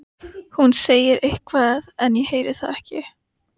Hún segir eitthvað en ég heyri það ekki.